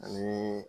Ani